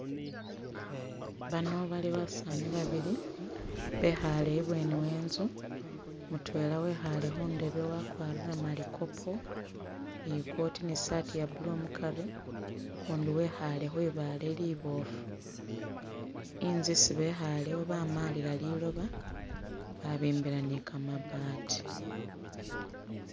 Bano bali basaani babili bekhaale ibweni we inzu, mutwela wekhaale khu ndebe wakwarire malikopo ni i'coat ni i'saati ya blue mukari, ukundi wekhaale khwi baale liboofu. Inzu isi bekhaalewo bamalila liloba babimbila ni kamabaati.